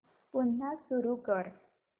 पुन्हा सुरू कर